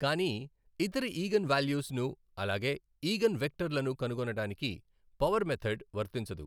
కానీ ఇతర eigen values ను అలాగే ఈగన్ వెక్టర్ లను కనుగొనడానికి పవర్ మెధడ్ వర్తించదు.